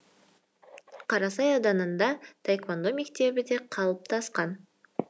қарасай ауданында таэквондо мектебі де қалыптасқан